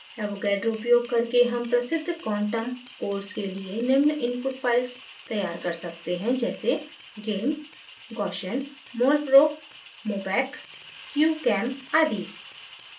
avogadro उपयोग करके हम प्रसिद्ध क्वांटम codes के लिए निम्न input files तैयार कर सकते हैं जैसे: